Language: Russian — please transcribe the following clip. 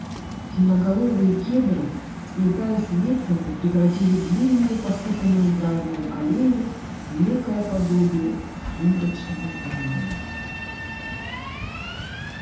темноголовые кедры сплетаясь ветвями превратили длинную посыпанную гравием аллею в некое подобие сумрачного туннеля